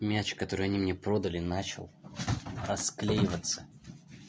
мяч который они мне продали начал расклеиваться